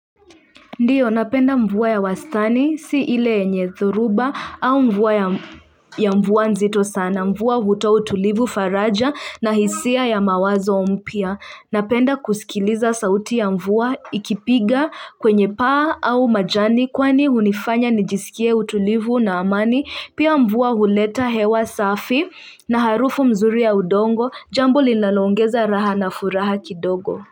Ndiyo napenda mvua ya wastani si ile enye thoruba au mvuwa ya mvua nzito sana mvua hutoa utulivu faraja na hisia ya mawazo mpya napenda kusikiliza sauti ya mvua ikipiga kwenye paa au majani kwani unifanya nijisikie utulivu na amani pia mvuwa huleta hewa safi na harufu mzuri ya udongo jambo lilalongeza raha na furaha kidogo.